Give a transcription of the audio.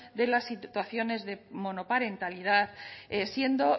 de las situaciones de monoparentalidad siendo